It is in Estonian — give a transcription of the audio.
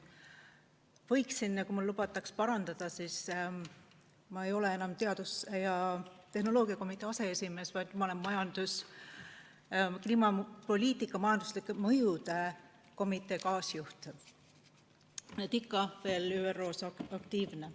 Ja kui mul lubatakse parandada, siis ma ei ole enam teadus- ja tehnoloogiakomitee aseesimees, vaid kliimapoliitika majanduslike mõjude komitee kaasjuht, nii et ikka veel ÜRO-s aktiivne.